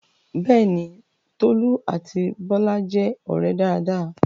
Bẹ́ẹ̀ni, Tolú àti Bọ́lá jẹ́ ọ̀rẹ́ dáadáa